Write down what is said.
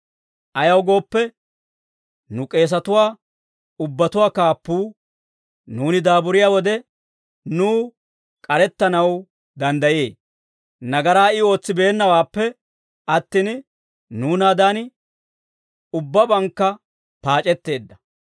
Ayaw gooppe, nu k'eesatuwaa ubbatuwaa kaappuu nuuni daaburiyaa wode nuw k'arettanaw danddayee; nagaraa I ootsibeennaawaappe attin, nuunaadan ubbabankka paac'etteedda.